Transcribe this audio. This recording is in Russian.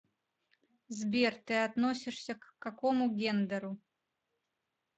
сбер ты относишься к какому гендеру